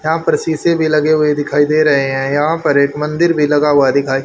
यहां पर शीशे भी लगे हुए दिखाई दे रहे हैं यहां पर एक मंदिर भी लगा हुआ दिखाई--